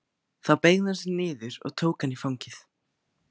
Þá beygði hún sig niður og tók hann í fangið.